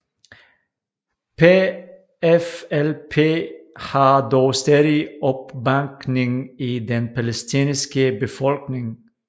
PFLP har dog stadig opbakning i den palæstinensiske befolkning